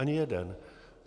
Ani jeden.